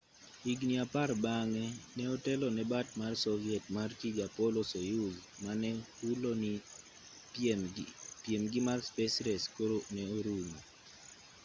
higni apar bang'e ne otelo ne bat mar soviet mar tij apollo-soyuz mane hulo ni piemgi mar space race koro ne orumo